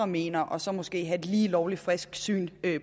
mener og så måske have et lige lovlig frisk syn